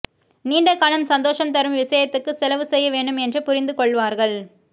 நீண்டகாலம் சந்தோஷம் தரும் விஷயத்துக்குப் செலவு செய்யவேண்டும் என்று புரிந்துகொள்வார்கள்